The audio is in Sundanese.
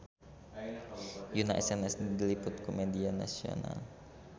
Yoona SNSD diliput ku media nasional